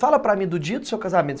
Fala para mim do dia do seu casamento.